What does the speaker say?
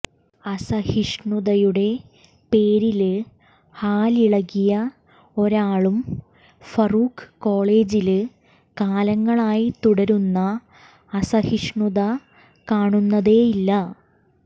അസഹിഷ്ണുതയുടെ പേരില് ഹാലിളക്കിയ ഒരാളും ഫറൂഖ് കോളജില് കാലങ്ങളായി തുടരുന്ന അസഹിഷ്ണുത കാണുന്നതേയില്ല